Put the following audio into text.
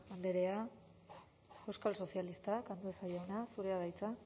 andrea euskal sozialistak andueza jauna zurea da hitza